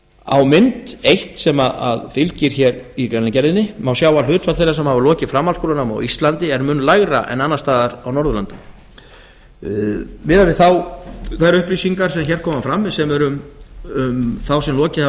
á mynd eitt sem fylgir hér í greinargerðinni má sjá að hlutfall þeirra sem lokið hafa framhaldsskólanámi á íslandi er mun lægra en annars staðar á norðurlöndunum miðað við þær upplýsingar sem hér koma fram sem eru um þá sem lokið hafa